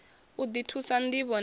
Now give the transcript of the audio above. u ḓi thusa ṋdivho na